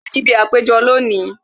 Mo wa níbi àpéjọpọ̀ lónìí